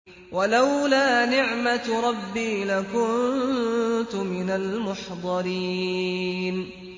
وَلَوْلَا نِعْمَةُ رَبِّي لَكُنتُ مِنَ الْمُحْضَرِينَ